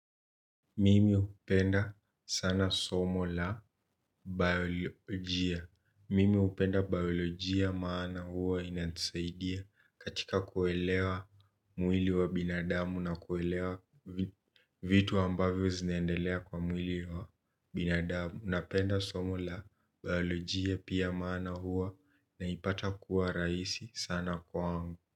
Mimi hupenda sana somo la biolojia. Mimi hupenda biolojia maana hua inanisaidia katika kuelewa mwili wa binadamu na kuelewa vitu ambavyo zinaendelea kwa mwili wa binadamu na penda somo la biolojia pia maana hua naipata kuwa rahisi sana kwangu.